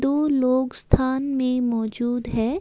दो लोग स्थान में मौजूद है।